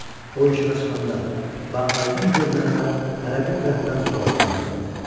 O işığa çıxanda və aydın görünəndə hərə bir tərəfdən suallar yağdırdı.